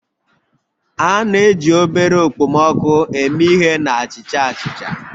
A na-eji obere okpomọkụ eme ihe na achicha achicha